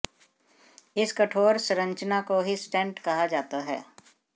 इस कठोर संरचना को ही स्टेंट कहा जाता है